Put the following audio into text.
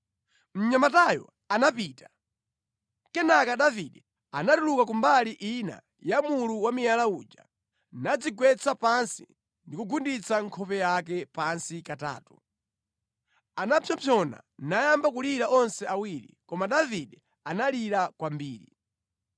Mnyamatayo anapita. Kenaka Davide anatuluka ku mbali ina ya mulu wa miyala uja, nadzigwetsa pansi ndi kugunditsa nkhope yake pansi katatu. Anapsompsona nayamba kulira onse awiri, koma Davide analira kwambiri.